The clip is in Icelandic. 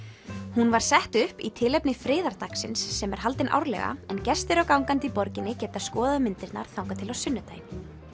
hún var sett upp í tilefni sem er haldinn árlega en gestir og gangandi í borginni geta skoðað myndirnar þangað til á sunnudaginn